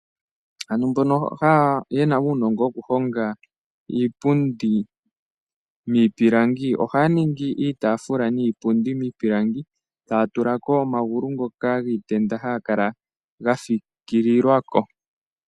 Ano mbono yena uunongo wokuhonga iipundu niipilangi, ohaya ningi iitafula niipundi miipilangi taya tula ko omagulu ngoka giitenda hagakala ga fikililwako.